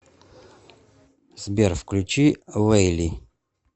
сбер включи лэйли